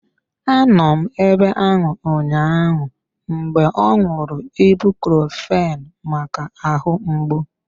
Anọ m ebe ahụ ụnyaahụ mgbe ọ ṅụrụ ibucrofen maka ahụ mgbu.